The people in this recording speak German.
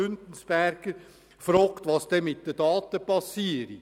Güntensperger fragt, was denn mit den Daten passiere.